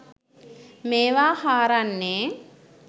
මේවා හාරන්නේ?